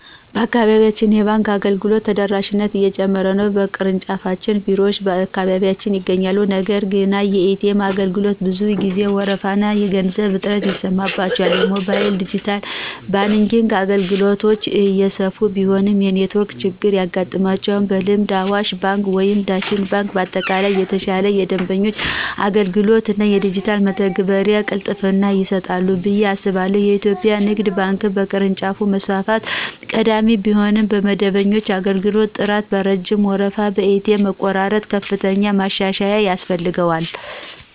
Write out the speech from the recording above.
በአካባቢያችን የባንክ አገልግሎቶች ተደራሽነት እየጨመረ ነው። የቅርንጫፍ ቢሮዎች በየአካባቢው ይገኛሉ፤ ነገር ግን የኤ.ቲ.ኤም አገልግሎቶች ብዙ ጊዜ ወረፋና የገንዘብ እጥረት ይስተዋልባቸዋል። የሞባይልና ዲጂታል ባንኪንግ አገልግሎቶች እየሰፉ ቢሆንም የኔትወርክ ችግር ያጋጥማቸዋል። በልምድ አዋሽ ባንክ ወይም ዳሽን ባንክ በአጠቃላይ የተሻለ የደንበኞች አገልግሎት እና የዲጂታል መተግበሪያ ቅልጥፍና ይሰጣሉ ብዬ አስባለሁ። የኢትዮጵያ ንግድ ባንክ ደግሞ በቅርንጫፍ መስፋፋት ቀዳሚ ቢሆንም በደንበኞች አገልግሎት ጥራት፣ በረጅም ወረፋና በኤ.ቲ.ኤም መቆራረጥ ከፍተኛ ማሻሻያ ያስፈልገዋል።